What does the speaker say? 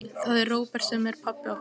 Það er Róbert sem er pabbi okkar.